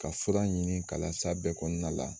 Ka fura ɲini ka las'a bɛɛ kɔnɔna la